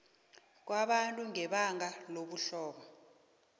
kwabantu ngebanga lobuhlobo